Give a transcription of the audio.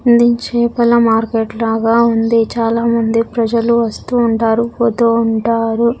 అందించే పండ్ల మార్కెట్ లాగా ఉంది చాలా మంది ప్రజలు వస్తూ ఉంటారు పోతూ ఉంటారు.